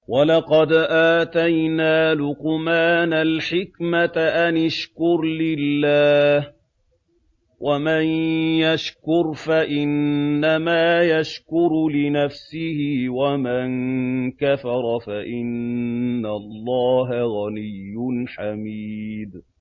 وَلَقَدْ آتَيْنَا لُقْمَانَ الْحِكْمَةَ أَنِ اشْكُرْ لِلَّهِ ۚ وَمَن يَشْكُرْ فَإِنَّمَا يَشْكُرُ لِنَفْسِهِ ۖ وَمَن كَفَرَ فَإِنَّ اللَّهَ غَنِيٌّ حَمِيدٌ